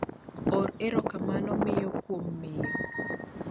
or erokamano miyo kuom miyo